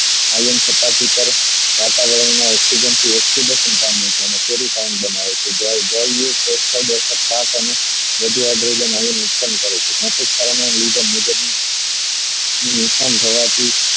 Iron થતા વાતાવરણ માં oxygen થી oxidation પામે છે અને બનાવે છે વધુ hydrogen iron નું નુકસાન કરે છે નુકસાન થવા થી